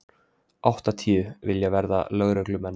Áttatíu vilja verða lögreglumenn